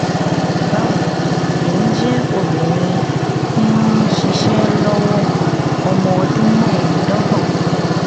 bawo emi jẹ obinrin ti nṣiṣe lọwọ ọmọ ọdun mẹ́ẹ̀ẹ́dọ́gbọ̀n